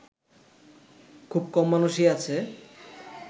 খুব কম মানুষই আছে